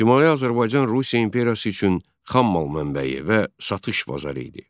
Şimali Azərbaycan Rusiya imperiyası üçün xammal mənbəyi və satış bazarı idi.